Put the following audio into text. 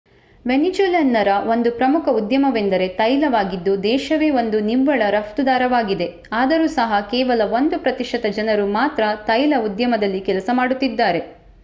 ವೆನೆಜ್ಯುಲನ್ನರ ಒಂದು ಪ್ರಮುಖ ಉದ್ಯಮವೆಂದರೆ ತೈಲವಾಗಿದ್ದು ದೇಶವೆ ಒಂದು ನಿವ್ವಳ ರಫ್ತುದಾರವಾಗಿದೆ ಆದರೂ ಸಹ ಕೇವಲ 1 ಪ್ರತಿಶತ ಜನರು ಮಾತ್ರ ತೈಲ ಉದ್ಯಮದಲ್ಲಿ ಕೆಲಸ ಮಾಡುತ್ತಿದ್ದಾರೆ